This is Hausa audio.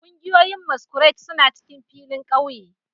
Kungiyoyin masquerade suna cikin filin kauye